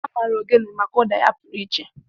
A maara ogene maka ụda ya pụrụ iche.